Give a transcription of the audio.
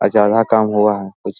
अ जगह कम हुआ है कुछ --